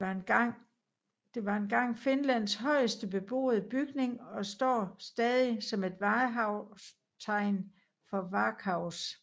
Det var engang Finlands højeste beboede bygning og står stadig som et vartegn for Varkaus